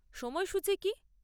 সময়সূচী কী?